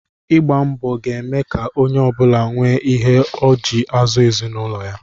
Ịgba mbọ ga-eme ka onye ọ bụla nwee ihe ọ ji azụ ezinụlọ ya